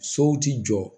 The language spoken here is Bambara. Sow ti jɔ